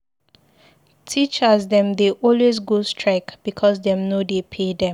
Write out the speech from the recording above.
Teachers dem dey always go strike because dem no dey pay dem.